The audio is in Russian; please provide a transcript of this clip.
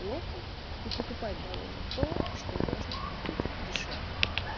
плохо и покупать дороже то что можно купить дешевле